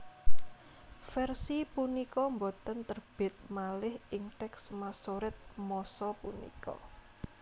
Versi punika boten terbit malih ing teks Masoret masa punika